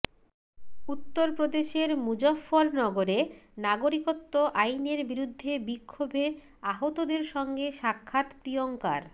উত্তর প্রদেশের মুজফফরনগরে নাগরিকত্ব আইনের বিরুদ্ধে বিক্ষোভে আহতদের সঙ্গে সাক্ষাৎ প্রিয়ঙ্কার